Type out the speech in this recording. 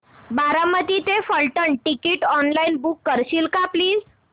बारामती ते Phaltan ticket online book करशील का प्लीज